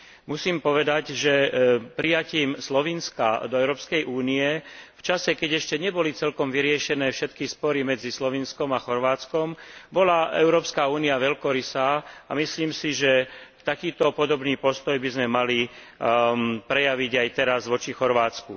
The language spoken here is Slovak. Musím povedať, že prijatím Slovinska do Európskej únie v čase, keď ešte neboli celkom vyriešené všetky spory medzi Slovinskom a Chorvátskom, bola Európska únia veľkorysá a myslím si, že takýto podobný postoj by sme mali prejaviť aj teraz voči Chorvátsku.